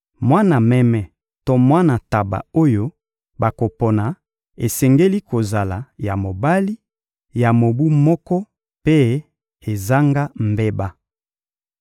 Mwana meme to mwana ntaba oyo bakopona esengeli kozala ya mobali, ya mobu moko mpe ezanga mbeba.